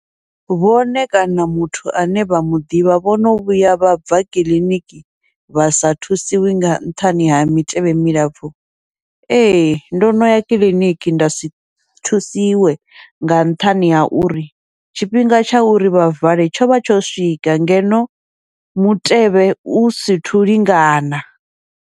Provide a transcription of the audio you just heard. Vhone kana muthu ane vha muḓivha vhono vhuya vha bva kiḽiniki vha sa thusiwi nga nṱhani ha mitevhe milapfhu, ee ndo noya kiḽiniki ndasi thusiwe nga nṱhani ha uri tshifhinga tsha uri vha vale tshovha tsho swika, ngeno mutevhe u sithu lingana.